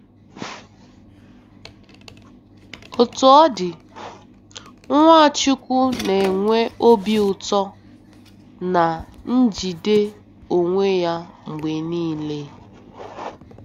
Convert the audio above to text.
Otú ọ dị, Nwachukwu na-enwe obi ụtọ na njide onwe ya mgbe niile.